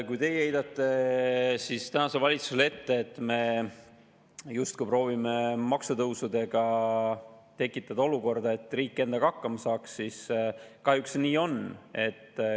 Kui teie heidate tänasele valitsusele ette, et me justkui proovime maksutõusudega tekitada olukorda, et riik endaga hakkama saaks, siis nii see tõesti on.